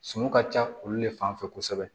Suman ka ca olu de fan fɛ kosɛbɛ